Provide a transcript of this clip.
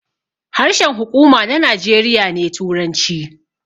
Harshen huƙuma na Najeriya ne turanci